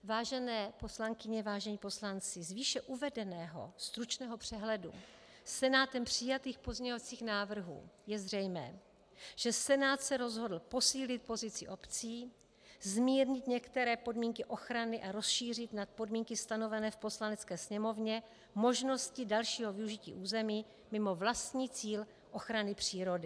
Vážené poslankyně, vážení poslanci, z výše uvedeného stručného přehledu Senátem přijatých pozměňovacích návrhů je zřejmé, že Senát se rozhodl posílit pozici obcí, zmírnit některé podmínky ochrany a rozšířit nad podmínky stanovené v Poslanecké sněmovně možnosti dalšího využití území mimo vlastní cíl ochrany přírody.